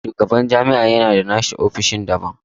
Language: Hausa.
Shugaban jami'a ya na da nashi ofishin daban.